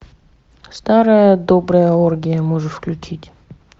старая добрая оргия можешь включить